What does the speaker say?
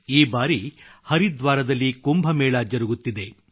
ಈ ಬಾರಿ ಹರಿದ್ವಾರದಲ್ಲಿ ಕುಂಭ ಮೇಳ ಜರುಗುತ್ತಿದೆ